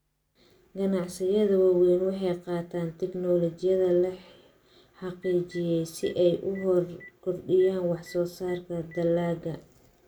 Ganacsiyada waaweyni waxay qaataan tignoolajiyada la xaqiijiyay si ay u kordhiyaan wax soo saarka dalagga.